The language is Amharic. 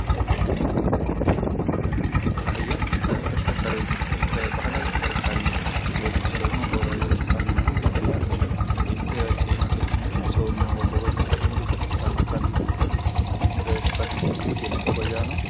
አህያ ከባህላዊ ተሽከርካሪዎች ውስጥ ወይም መጓጓዣዎች ውስጥ ዋነኛው ነው ። አህያ እንግዲህ የተለያዩ ጭነቶችን እና ሰዎችን ለማጓጓዣነት የሚውል በገጠሩ አካባቢ የሚገኝ በስፋት የሚጠቀሙት የመጓጓዣ ነው ።